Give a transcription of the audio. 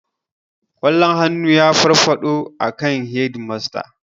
Ƙwallon hannu ya faɗo akan hedimasta jiya